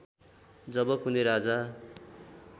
जब कुनै राजा